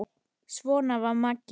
Svona var Maggi.